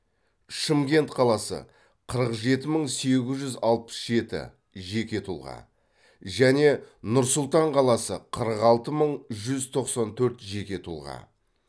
шымкент қаласы қырық жеті мың сегіз жүз алпыс жеті жеке тұлға және нұр сұлтан қаласы қырық алты мың жүз тоқсан төрт жеке тұлға